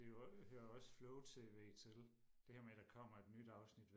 Det er jo hører også flow tv til det her med der kommer et nyt afsnit